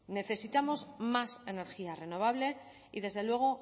necesitamos más energía renovable y desde luego